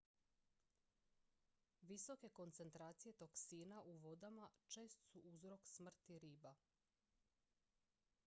visoke koncentracije toksina u vodama čest su uzrok smrti riba